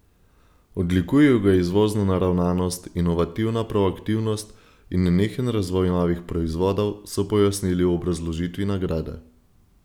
Odlikujejo ga izvozna naravnanost, inovativna proaktivnost in nenehen razvoj novih proizvodov, so pojasnili v obrazložitvi nagrade.